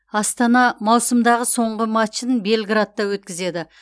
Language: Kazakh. астана маусымдағы соңғы матчын белградта өткізеді